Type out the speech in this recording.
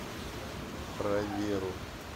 про веру